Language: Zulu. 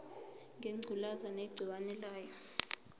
ngengculazi negciwane layo